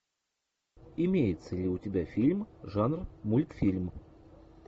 имеется ли у тебя фильм жанр мультфильм